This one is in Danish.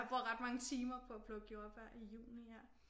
Jeg bruger ret mange timer på at plukke jordbær i juni her